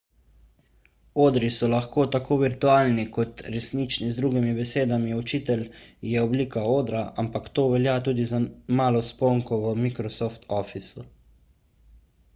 odri so lahko tako virtualni kot resnični z drugimi besedami učitelj je oblika odra ampak to velja tudi za malo sponko v microsoft officeu